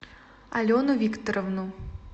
алену викторовну